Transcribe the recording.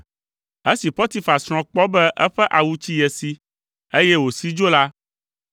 Esi Potifar srɔ̃ kpɔ be eƒe awu tsi ye si, eye wòsi dzo la,